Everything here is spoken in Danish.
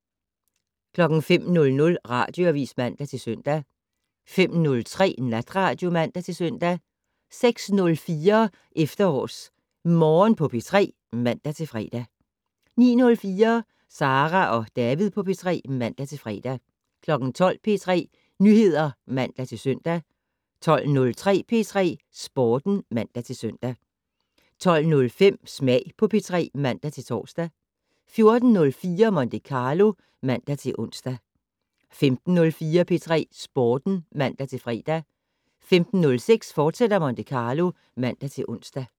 05:00: Radioavis (man-søn) 05:03: Natradio (man-søn) 06:04: EfterårsMorgen på P3 (man-fre) 09:04: Sara og David på P3 (man-fre) 12:00: P3 Nyheder (man-søn) 12:03: P3 Sporten (man-søn) 12:05: Smag på P3 (man-tor) 14:04: Monte Carlo (man-ons) 15:04: P3 Sporten (man-fre) 15:06: Monte Carlo, fortsat (man-ons)